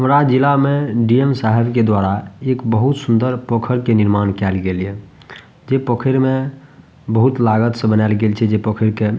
तोरा जिला में डी.एम. साहब के द्वारा एक बहुत सूंदर पोखर के निर्माण कायल गेल या जे पोखर में बहुत लागत से बनाल गेल छै जे पोखर के ।